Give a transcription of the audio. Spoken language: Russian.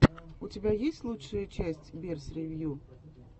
у тебя есть лучшая часть берс ревью